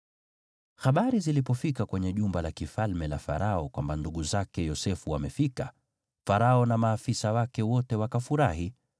Habari zilipofika kwenye jumba la Farao kwamba ndugu zake Yosefu wamefika, Farao na maafisa wake wote wakafurahi.